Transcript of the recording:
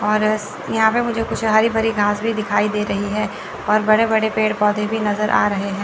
और यहां पे मुझे कुछ हरी भरी घास भी दिखाई दे रही है और बड़े बड़े पेड़ पौधे भी नजर आ रहे हैं।